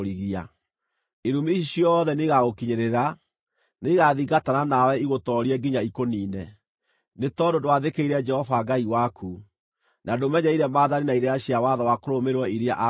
Irumi ici ciothe nĩigagũkinyĩrĩra. Nĩigathingatana nawe igũtoorie nginya ikũniine, nĩ tondũ ndwathĩkĩire Jehova Ngai waku, na ndũmenyereire maathani na irĩra cia watho wa kũrũmĩrĩrwo iria aakũheire.